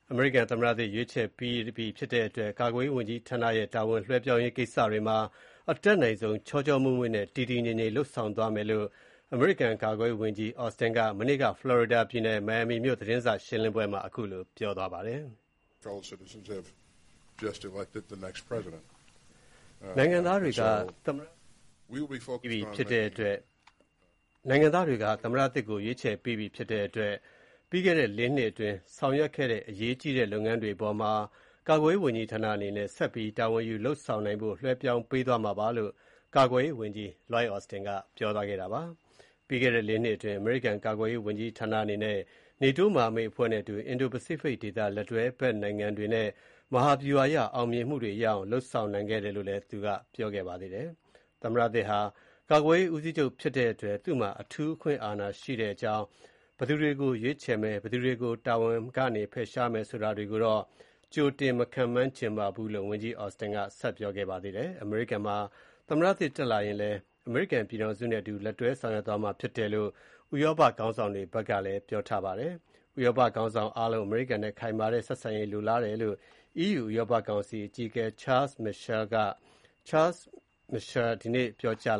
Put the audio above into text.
အမေရိကန် သမ္မတသစ် ရွေးချယ်ပြီးဖြစ်တဲ့အတွက် ကာကွယ်ရေးဝန်ကြီးဌာနရဲ့ တာဝန်လွှဲပြောင်းရေး ကိစ္စတွေမှာ အတတ်နိုင်ဆုံးချောချောမွေ့မွေ့နဲ့ တည်တည်ငြိမ်ငြိမ် လုပ်ဆောင်သွားမယ့်အကြောင်း အမေရိကန် ကာကွယ်ရေးဝန်ကြီး Lloyd Austin က မနေ့က ဖလော်ရီဒါပြည်နယ် မိုင်ယာပီမြို့ သတင်းစာရှင်းလင်းပွဲမှာ ပြောပါတယ်။ နိုင်ငံသားတွေက သမ္မတသစ်ကို ရွေးချယ်ပြီးပြီ ဖြစ်တဲ့အတွက် ပြီးခဲ့တဲ့လေးနှစ်အတွင်း ဆောင်ရွက် ခဲ့တဲ့ အရေးကြီးတဲ့လုပ်ငန်းတွေအပေါ်မှာ ကာကွယ်ရေးဝန်ကြီးဌာအနေနဲ့ ဆက်ပြီး တာဝန်ယူ လုပ်ဆောင်နိုင်ဖို့ လွှဲပြောင်းပေးသွားမှာဖြစ်ကြောင်း ကာကွယ်ရေးဝန်ကြီး Lloyd Austin ပြောသွားတာပါ။ ပြီးခဲ့တဲ့ လေးနှစ်အတွင်း အမေရိကန် ကာကွယ်ရေးဝန်ကြီးဌာနအနေနဲ့ နေတိုး မဟာမိတ်အဖွဲ့နဲ့အတူ အင်ဒို-ပစိဖိတ်ဒေသ လက်တွဲဘက်နိုင်ငံတွေနဲ့ မဟာဗျူဟာအရ အောင်မြင်မှုတွေရအောင် လုပ်ဆောင်နိုင်ခဲ့တယ်လို့လည်း သူက ပြောပါတယ်။ သမ္မတသစ်ဟာ ကာကွယ်ရေး ဦးစီးချုပ်ဖြစ်တဲ့အတွက် သူ့မှာ အထူးအခွင့်အာဏာရှိတဲ့အကြောင်း၊ ဘယ်သူတွေကို ရွေးချယ်မယ်၊ ဘယ်သူတွေကို တာဝန်ကဖယ်ရှားမယ်ဆိုတာတွေကိုတော့ ကြိုတင် မခန့်မှန်းချင်ပါဘူးလို့ ဝန်ကြီး Austin က ပြောခဲ့ပါတယ်။ အမေရိကန်မှာ သမ္မတသစ်တက်လာရင်လည်း အမေရိကန်ပြည်ထောင်စုနဲ့ အတူလက်တွဲဆောင်ရွက် သွားမှာဖြစ်တယ်လို့ ဥရောပခေါင်းဆောင်တွေက ပြောပါတယ်။ ဥရောပခေါင်းဆောင်အားလုံး အမေရိကန်နဲ့ ခိုင်မာတဲ့ ဆက်ဆံရေးကို လိုလားတယ်လို့ EU ဥရောပ ကောင်စီ အကြီးအကဲ Charles Michael (ရှာမစ်ရှဲ) က ဒီနေ့ပြောကြား